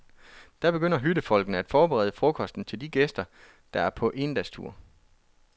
Da begynder hyttefolkene at forberede frokosten til de gæster, der er på endagstur.